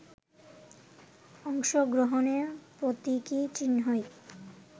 অংশগ্রহণের প্রতীকী চিহ্নই